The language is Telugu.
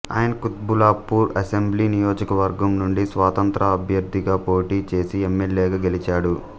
ఆయన కుత్బుల్లాపూర్ అసెంబ్లీ నియోజకవర్గం నుండి స్వతంత్ర అభ్యర్థిగా పోటీ చేసి ఎమ్మెల్యేగా గెలిచాడు